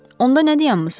Onda nə dayanırsız?